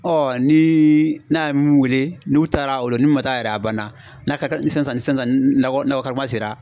ni n'a mun wele n'u taara o lo ni mun man taa yɛrɛ a banna n'a ka ni sisan sisan ni nakɔ kuma sera